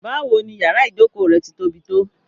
Báwò ní yàrà ìjọkọ rẹ̀ tí tó bí tó?